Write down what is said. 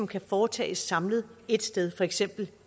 kan foretages samlet ét sted for eksempel